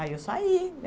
Aí eu saí.